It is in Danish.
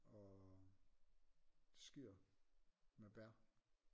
Og skyr med bær